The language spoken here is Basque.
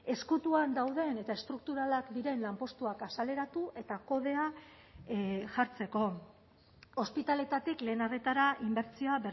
ezkutuan dauden eta estrukturalak diren lanpostuak azaleratu eta kodea jartzeko ospitaletatik lehen arretara inbertsioa